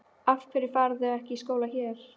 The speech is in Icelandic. Af hverju fara þau þá ekki í skóla hér?